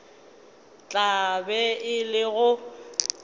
tla be e le go